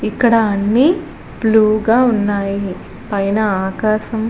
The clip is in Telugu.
ఇక్కడ అన్ని బ్లూ గా ఉన్నాయ్. పైన ఆకాశం --